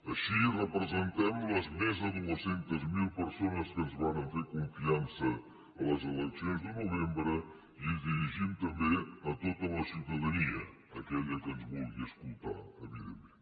així representem les més de dos cents miler persones que ens varen fer confiança en les eleccions de novembre i ens dirigim també a tota la ciutadania a aquella que ens vulgui escoltar evidentment